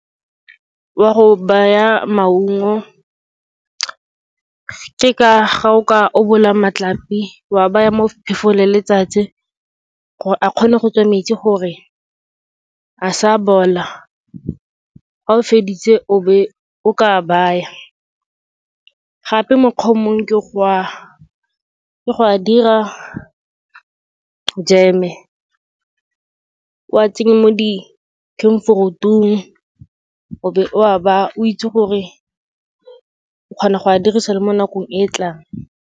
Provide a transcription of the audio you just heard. Wa go baya maungo. Ke ka ga o ka obola matlapi, wa baya mo, before le letsatsi, gore a kgone go tswa metsi gore a sa bola, ga o feditse o be o ka baya. Gape mo kgomong, ke go a dira jam-e, wa tsenye mo di-can fruit-ong, o be o a ba o itse gore, o kgona go a dirisa le mo nakong e tlang.